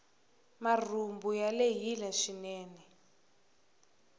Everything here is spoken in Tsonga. marhumbu ya lehile swinene